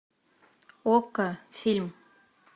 окко фильм